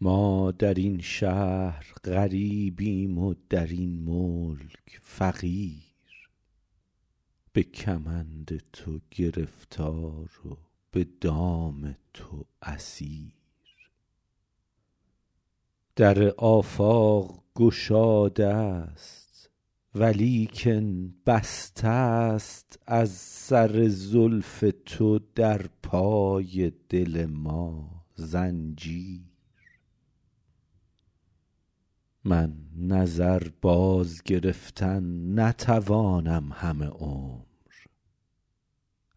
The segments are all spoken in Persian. ما در این شهر غریبیم و در این ملک فقیر به کمند تو گرفتار و به دام تو اسیر در آفاق گشاده ست ولیکن بسته ست از سر زلف تو در پای دل ما زنجیر من نظر بازگرفتن نتوانم همه عمر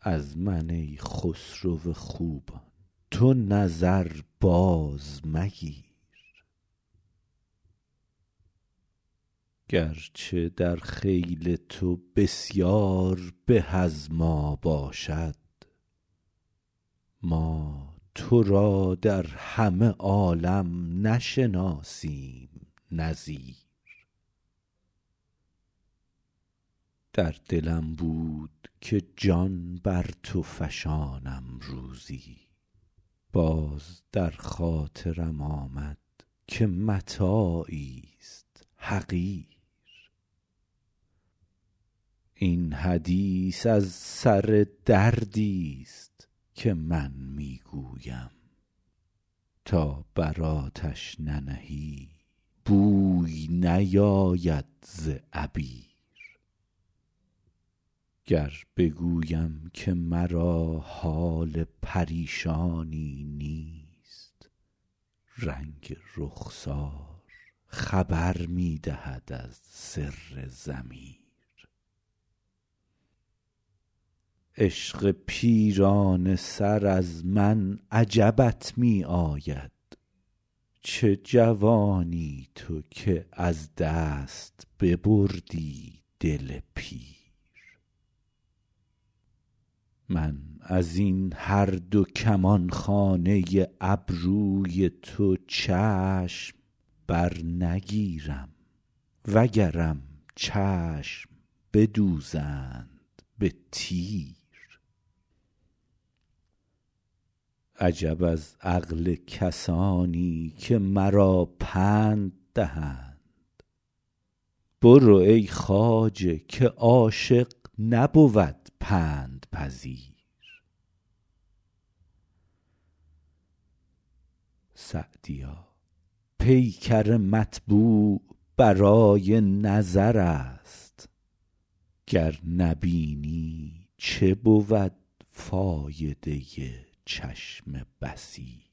از من ای خسرو خوبان تو نظر بازمگیر گرچه در خیل تو بسیار به از ما باشد ما تو را در همه عالم نشناسیم نظیر در دلم بود که جان بر تو فشانم روزی باز در خاطرم آمد که متاعیست حقیر این حدیث از سر دردیست که من می گویم تا بر آتش ننهی بوی نیاید ز عبیر گر بگویم که مرا حال پریشانی نیست رنگ رخسار خبر می دهد از سر ضمیر عشق پیرانه سر از من عجبت می آید چه جوانی تو که از دست ببردی دل پیر من از این هر دو کمانخانه ابروی تو چشم برنگیرم وگرم چشم بدوزند به تیر عجب از عقل کسانی که مرا پند دهند برو ای خواجه که عاشق نبود پندپذیر سعدیا پیکر مطبوع برای نظر است گر نبینی چه بود فایده چشم بصیر